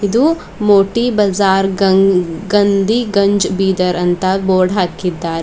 ಇದು ಮೋಟಿ ಬಜಾರ್ ಗಂಗ್ ಗಂಧಿ ಗಂಜ್ ಬೀದರ್ ಅಂತ ಬೋರ್ಡ್ ಹಾಕಿದ್ದಾರೆ.